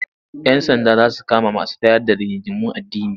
Yan sanda za su kama masu tayar da rigingimun addini.